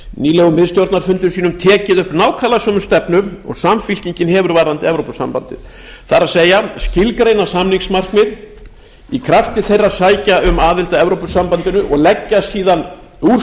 nýlegum miðstjórnarfundum sínum tekið upp nákvæmlega sömu stefnu og samfylkingin hefur varðandi evrópusambandið það er að skilgreina samningsmarkmið í krafti þeirra að sækja um aðild að evrópusambandinu og leggja síðan úrslit